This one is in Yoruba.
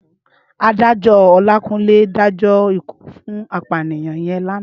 Ádájò Olakunle dájò ikú fún àpániyàn yèn làná